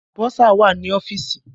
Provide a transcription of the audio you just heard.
Bọ́sà wà ní ọ́fìsì.